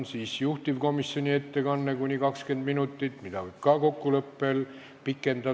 Siis on juhtivkomisjoni ettekanne kuni 20 minutit, mida võib ka kokkuleppel pikendada.